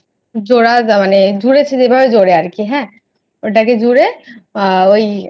জোড়া দেওয়া মানে জুড়েছে যেভাবে আরকি জোরে হ্যাঁ ওটাকে জোরে আহ ওই